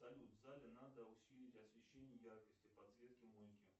салют в зале надо усилить освещение яркости подсветки мойки